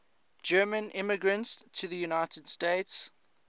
german immigrants to the united states